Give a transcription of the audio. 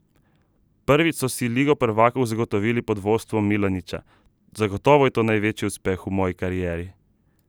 Prvič so si Ligo prvakov zagotovili pod vodstvom Milaniča: "Zagotovo je to največji uspeh v moji karieri.